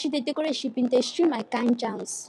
as she dey decorate she bin dey stream her kind jams